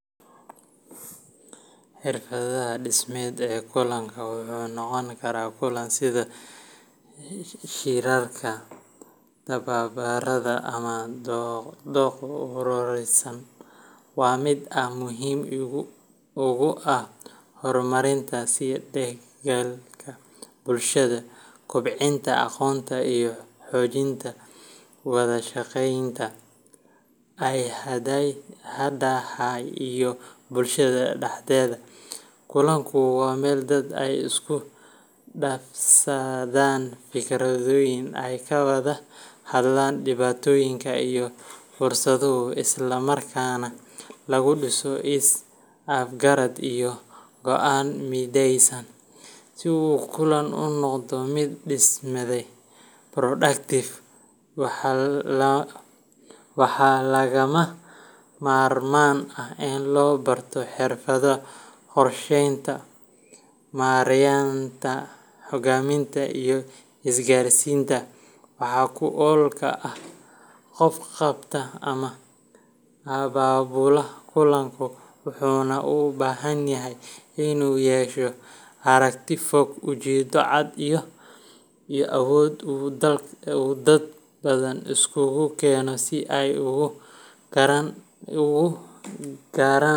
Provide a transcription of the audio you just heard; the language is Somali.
Xirfadda dhismed ee kulanka wuxuuna noqon karaa kulan sida shirarka, tababarada, ama doodo ururaysan waa mid aad muhiim ugu ah horumarinta isdhexgalka bulshada, kobcinta aqoonta, iyo xoojinta wada shaqeynta hay’adaha iyo bulshada dhexdeeda. Kulanku waa meel dadka ay isku dhaafsadaan fikradaha, ay ka wada hadlaan dhibaatooyin iyo fursado, isla markaana lagu dhiso is afgarad iyo go’aan mideysan. Si uu kulan u noqdo mid dhismed productive, waxaa lagama maarmaan ah in la barto xirfadaha qorshaynta, maaraynta, hogaaminta, iyo isgaarsiinta wax ku oolka ah. Qofka qabta ama abaabula kulanka wuxuu u baahan yahay inuu yeesho aragti fog, ujeedo cad, iyo awood uu dad badan iskugu keeno si ay u gaaraan.